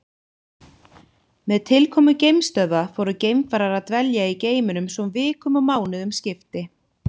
Með tilkomu geimstöðva fóru geimfarar að dvelja í geimnum svo vikum og mánuðum skipti.